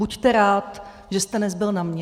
Buďte rád, že jste nezbyl na mě.